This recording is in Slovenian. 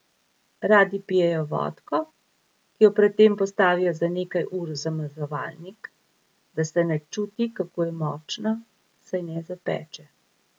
Radi pijejo vodko, ki jo pred tem postavijo za nekaj ur v zamrzovalnik, da se ne čuti, kako je močna, saj ne zapeče.